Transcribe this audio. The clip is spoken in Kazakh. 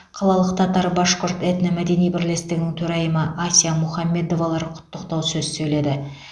қалалық татар башқұрт этно мәдени бірлестігінің төрайымы ася мухаммедовалар құттықтау сөз сөйледі